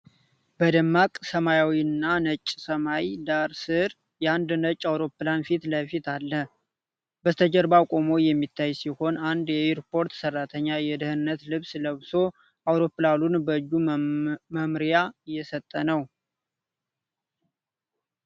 በደማቅ ሰማያዊና ነጭ ሰማይ ዳራ ስር፣ የአንድ ነጭ አውሮፕላን ፊት ለፊት አለ፣ በስተጀርባ ቆሞ የሚታይ ሲሆን፣ አንድ የኤርፖርት ሠራተኛ የደህንነት ልብስ ለብሶ፣ አውሮፕላኑን በእጁ መመሪያ እየሰጠ።